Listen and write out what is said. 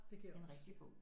Det kan jeg også